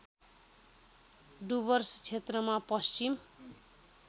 डुवर्स क्षेत्रमा पश्चिम